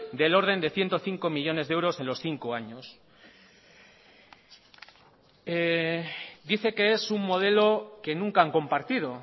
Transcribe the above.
del orden de ciento cinco millónes de euros en los cinco años dice que es un modelo que nunca han compartido